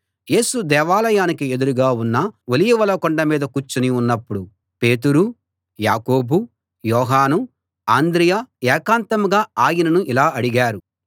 యేసు దేవాలయానికి ఎదురుగా ఉన్న ఒలీవల కొండ మీద కూర్చుని ఉన్నప్పుడు పేతురు యాకోబు యోహాను అంద్రెయ ఏకాంతంగా ఆయనను ఇలా అడిగారు